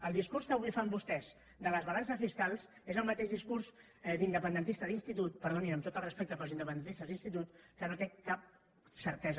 el discurs que avui fan vostès de les balances fiscals és el mateix discurs d’independentista d’institut per·donin amb tot el respecte pels independentistes d’ins·titut que no té cap certesa